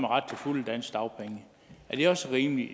ret til fulde danske dagpenge er det også rimeligt